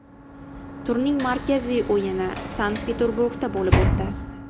Turning markaziy o‘yini Sankt-Peterburgda bo‘lib o‘tdi.